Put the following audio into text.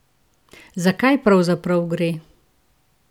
Za kaj pravzaprav gre?